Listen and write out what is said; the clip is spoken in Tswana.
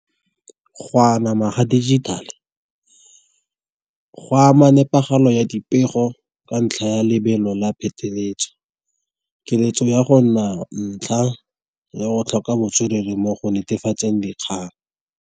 Go anama ga dijithale go ama nepagalo ya dipego, ka ntlha ya lebelo la pheteletso. Keletso ya go nna ntlha ya go tlhoka botswerere mo go netefatseng dikgang.